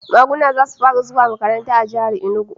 Maguna za su fara zuwa makaranta a jihar Enugu